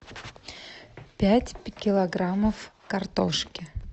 пять килограммов картошки